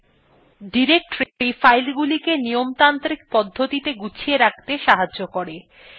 directory filesগুলিকে নিয়মতান্ত্রিক পদ্ধতিতে গুছিয়ে রাখতে সাহায্য করে